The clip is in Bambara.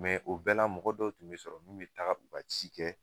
o bɛ la mɔgɔ dɔw tun bɛ sɔrɔ, min bɛ taga u ka ci kɛ